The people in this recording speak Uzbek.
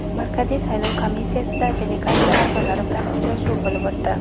Markaziy saylov komissiyasida delegatsiya a’zolari bilan uchrashuv bo‘lib o‘tdi.